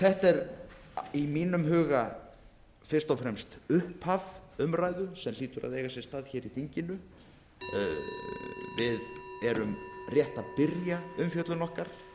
þetta er í mínum huga fyrst og fremst upphaf umræðu sem hlýtur að eiga sér stað í þinginu við erum rétt að byrja umfjöllun okkar